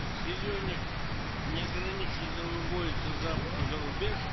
сырье неограниченно вывозится зарубеж